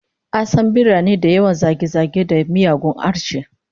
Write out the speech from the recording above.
An san birane da yawan zage-zage da miyagun harshe